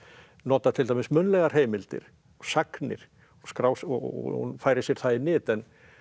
nota til dæmis munnlegar heimildir og sagnir og og færir sér það í nyt en